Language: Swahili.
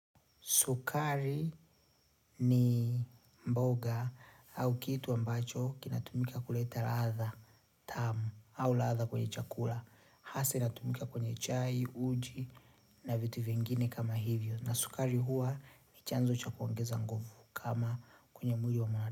Sukari ni mboga au kitu ambacho kinatumika kuleta ladha tamu au ladha kwenye chakula. Hasa inatumika kwenye chai, uji na vitu vingine kama hivyo. Na sukari huwa ni chanzo chakuongeza nguvu kama kwenye mjiho wa mwari.